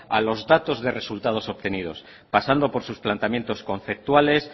a los datos de resultados obtenidos pasando por sus planteamientos conceptuales